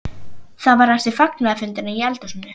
Það var eftir fagnaðarfundina í eldhúsinu.